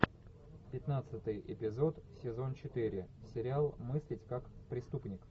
пятнадцатый эпизод сезон четыре сериал мыслить как преступник